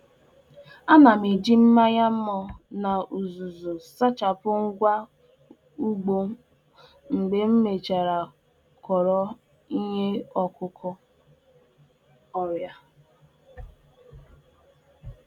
Ana m eji mmanya vinegar na ntụ na-ehicha ngwongwo ọrụ ubi m oge ọbụla m wechara iheubi ndị nke ah.ụ bu ọrịa